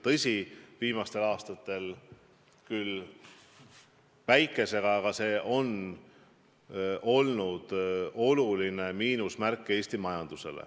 Tõsi, viimastel aastatel on seda küll vähem olnud, aga Eesti majandusele on see tähendanud suurt miinust.